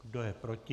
Kdo je proti?